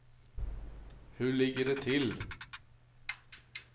Hur ligger det till?